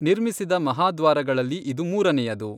ನಿರ್ಮಿಸಿದ ಮಹಾದ್ವಾರಗಳಲ್ಲಿ ಇದು ಮೂರನೆಯದು.